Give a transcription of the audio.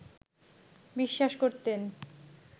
বিশ্বাস করতেন